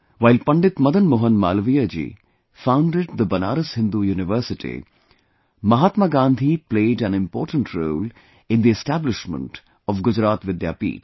While Pandit Madan Mohan Malviya ji founded the Banaras Hindu University, Mahatma Gandhi played an important role in the establishment of Gujarat Vidyapeeth